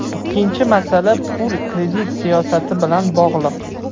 Ikkinchi masala, pul-kredit siyosati bilan bog‘liq.